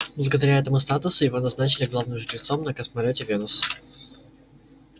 благодаря этому статусу его назначили главным жрецом на космолёте венус